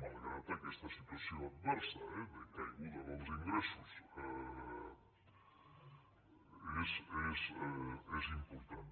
malgrat aquesta situació adversa eh de caiguda dels ingressos és important